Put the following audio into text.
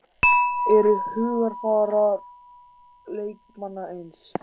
Eru hugarfar leikmanna eins?